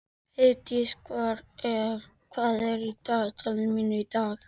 Heiðdís, hvað er í dagatalinu mínu í dag?